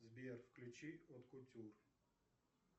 сбер включи от кутюр